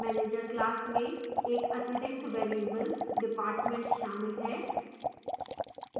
manager class में एक अतिरिक्त variable department शामिल है